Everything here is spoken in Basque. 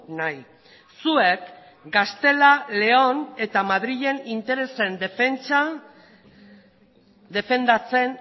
nahi zuek gaztela leon eta madrilen interesen defentsa defendatzen